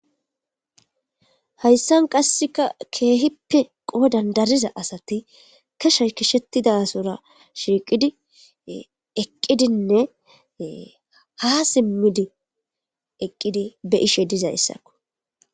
hayssan qasseka keehippe qoo dandariza asati keshey kishetidasora shiiqidi eqqidinne ha simmidi eqqidi be ishe dizay issakko